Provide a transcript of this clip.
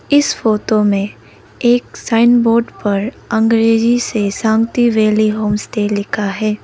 इस फोटो में एक साइन बोर्ड पर अंग्रेजी से शांति वैली होमस्टे लिखा है।